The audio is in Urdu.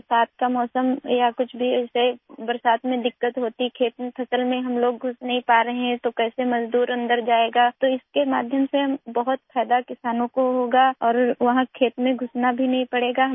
بارش کا موسم ہو یا اس طرح کی کوئی اور چیز، بارشوں کے دوران کوئی پریشانی ہوتی ہے اور ہم فصل کاٹنے کے لیے کھیتوں میں نہیں جا پاتے، تو مزدور اندر کیسے جائیں گے، اس سے کسانوں کو بہت فائدہ ہو گا اور وہ کھیتوں میں داخل ہونے کی بھی ضرورت نہیں ہے